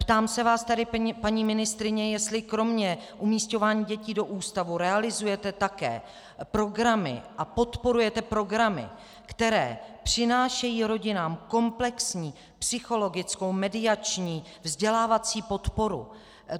Ptám se vás tedy, paní ministryně, jestli kromě umísťování dětí do ústavu realizujete také programy a podporujete programy, které přinášejí rodinám komplexní psychologickou, mediační, vzdělávací podporu.